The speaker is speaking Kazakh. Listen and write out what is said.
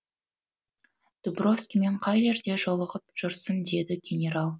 дубровскиймен қай жерде жолығып жүрсің деді генерал